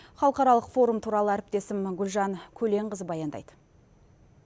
халықаралық форум туралы әріптесім гүлжан көленқызы баяндайды